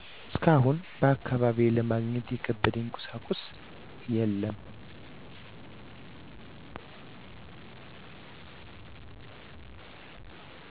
እስካሁን በአካባቢዬ ለማግኘት የከበደኝ ቁሳቁስ የለም።